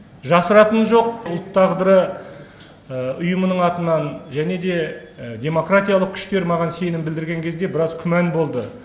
жасыратыны жоқ ұлт тағдыры ұйымының атынан және де демократиялық күштер маған сенім білдірген кезде бірәз күмән болды